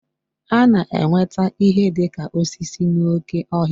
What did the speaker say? A na-enweta ihe dị ka osisi n'oké ọhịa